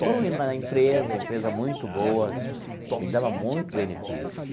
Foram indo na empresa, empresa muito boa, me dava muito benefícios.